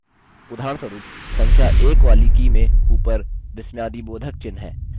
उदाहरणस्वरुप संख्या 1 वाली की में ऊपर विस्मयादिबोधकचिह्न है